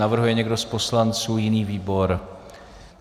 Navrhuje někdo z poslanců jiný výbor?